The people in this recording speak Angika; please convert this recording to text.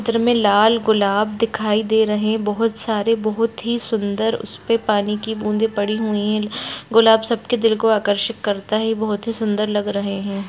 चित्र में लाल गुलाब दिखाई दे रहे हैं बहोत सारे बहोत ही सुंदर उसपे पानी की बूंदे पड़ी हुई हैं गुलाब सबके दिल को आकर्षित करता है ये बहोत ही सुंदर लग रहे हैं।